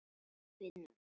Af og frá.